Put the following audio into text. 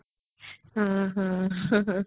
ହଁ